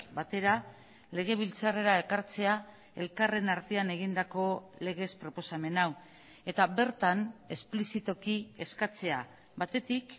batera legebiltzarrera ekartzea elkarren artean egindako legez proposamen hau eta bertan esplizitoki eskatzea batetik